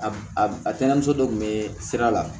A a a tɛnɛmuso dɔ kun bɛ sira la